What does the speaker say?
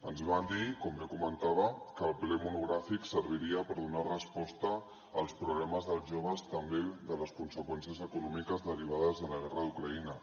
ens van dir com bé comentava que el ple monogràfic serviria per donar resposta als problemes dels joves també de les conseqüències econòmiques derivades de la guerra d’ucraïna